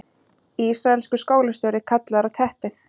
Ísraelskur skólastjóri kallaður á teppið